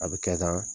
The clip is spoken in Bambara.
A bɛ kɛ tan